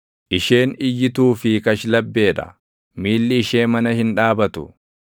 Isheen iyyituu fi kashlabbee dha; miilli ishee mana hin dhaabatu;